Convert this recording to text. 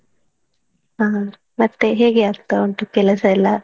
ಹಾ ಮತ್ತೇ ಹೇಗೆ ಆಗ್ತಾ ಉಂಟು ಕೆಲಸಯೆಲ್ಲಾ?